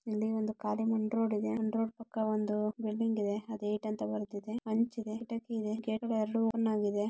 ಎಲ್ಲಿ ಒಂದು ಕಾಲು ಮುಂಡ ಪಕ್ಕ ಒಂದು. ಬರುತ್ತಿದೆ ಅಂಚಿನಲ್ಲಿದೆ. ಕೇಳುವಂತಾಗಿದೆ.